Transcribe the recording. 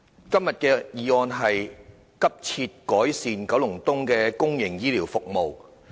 今天的議案是"急切改善九龍東公營醫療服務"。